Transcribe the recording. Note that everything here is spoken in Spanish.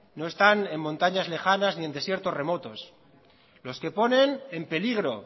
no están en montañas lejanas ni en desiertos remotos lls que ponen en peligro